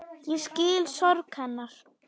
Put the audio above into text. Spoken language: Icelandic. Ég skil sorg hennar.